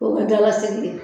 O bɛ dala segi de